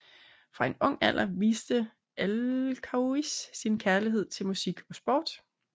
Fra en ung alder viste Alkaios sin kærlighed til musik og sport